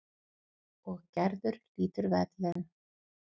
Og Gerður hlýtur verðlaun.